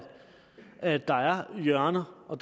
at der er hjørner og